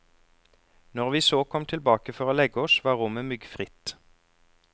Når vi så kom tilbake for å legge oss var rommet myggfritt.